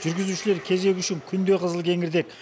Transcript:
жүргізушілер кезегі үшін күнде қызылкеңірдек